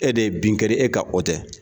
E de ye bin e ka o tɛ